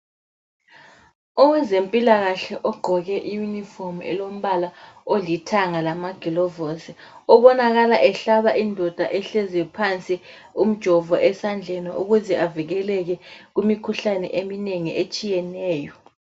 Owezempilakahle ogqoke i yunifomu elombala olithanga lamagilovosi obonakala ehlaba indoda ehlezi phansi umjovo esandleni ukuze avikeleke kumikhuhlane eminengi etshiyeneyo